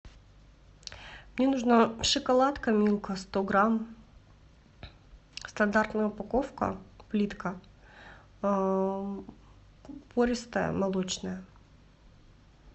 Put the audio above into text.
мне нужна шоколадка милка сто грамм стандартная упаковка плитка пористая молочная